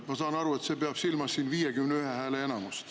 Ma saan aru, et siin peetakse silmas 51 hääle nõuet.